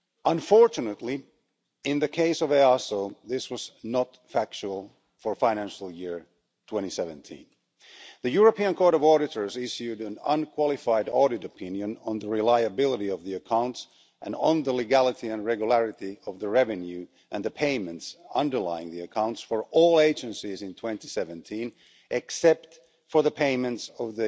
Unfortunately, in the case of EASO, this was not the fact for the financial year 2017. The European Court of Auditors issued an unqualified audit opinion on the reliability of the accounts and on the legality and regularity of the revenue and the payments underlying the accounts for all agencies in 2017 except for the payments of